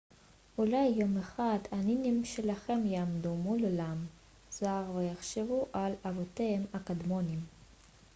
אולי יום אחד הנינים שלכם יעמדו מול עולם זר ויחשבו על אבותיהם הקדמוניים